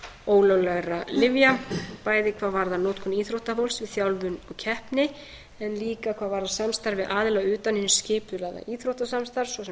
ólöglegra lyfja bæði hvað varðar notkun íþróttafólks í þjálfun og keppni en líka hvað varðar samstarf við aðila utan hins skipulagða íþróttasamstarfs svo sem